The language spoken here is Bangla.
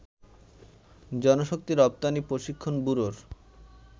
জনশক্তি রপ্তানি প্রশিক্ষণ ব্যুরোর